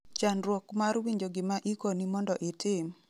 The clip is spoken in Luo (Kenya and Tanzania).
Chandruok mar winjo gima ikoni mondo itim.